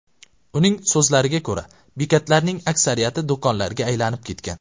Uning so‘zlariga ko‘ra, bekatlarning aksariyati do‘konlarga aylanib ketgan.